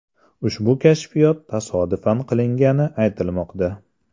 Ushbu kashfiyot tasodifan qilingani aytilmoqda.